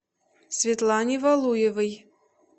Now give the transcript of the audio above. светлане валуевой